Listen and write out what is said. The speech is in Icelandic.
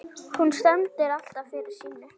Hún stendur alltaf fyrir sínu.